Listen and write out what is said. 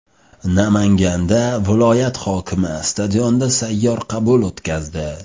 Namanganda viloyat hokimi stadionda sayyor qabul o‘tkazdi.